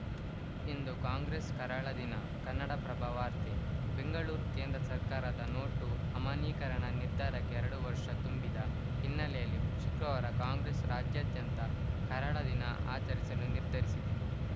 ಇಂದು Congress ಕರಾಳ ದಿನ ಕನ್ನಡಪ್ರಭ ವಾರ್ತೆ ಬೆಂಗಳೂರು ಕೇಂದ್ರ ಸರ್ಕಾರದ ನೋಟು ಅಮಾನ್ಯೀಕರಣ ನಿರ್ಧಾರಕ್ಕೆ ಎರಡು ವರ್ಷ ತುಂಬಿದ ಹಿನ್ನೆಲೆಯಲ್ಲಿ ಶುಕ್ರವಾರ ಕಾಂಗ್ರೆಸ್‌ ರಾಜ್ಯಾದ್ಯಂತ ಕರಾಳ ದಿನ ಆಚರಿಸಲು ನಿರ್ಧರಿಸಿದೆ